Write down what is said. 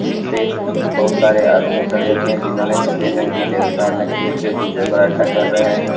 इस पे बहुत सारे आदमी खड़े हुए हैं जिन्होंने सफेद रंग की ड्रेस पहन रखी है जो जूडो कराटा कर रहे हैं।